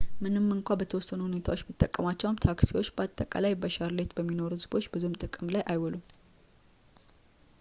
ምንም እንኳን በተወሰኑ ሁኔታዎች ቢጠቀሟቸውም ታክሲዎች በአጠቃላይ በሻርሌት በሚኖሩ ቤተሰቦች ብዙም ጥቅም ላይ አይውሉም